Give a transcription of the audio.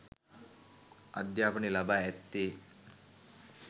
අධ්‍යාපනය ලබා ඇත්තේ